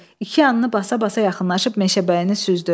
İki yanını basa-basa yaxınlaşıb Meşəbəyini süzdü.